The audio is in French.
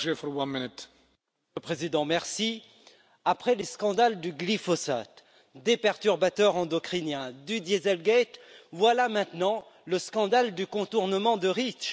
Monsieur le Président, après les scandales du glyphosate, des perturbateurs endocriniens, du Dieselgate, voilà maintenant le scandale du contournement de Reach.